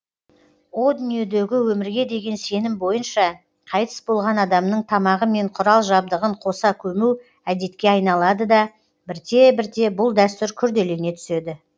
о дүниедегі өмірге деген сенім бойынша қайтыс болған адамның тамағы мен құрал жабдығын қоса көму әдетке айналады да бірте бірте бұл дәстүр күрделене түседі